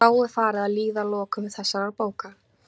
Þá er farið að líða að lokum þessarar bókar.